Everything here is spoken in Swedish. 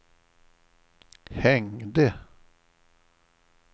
hängde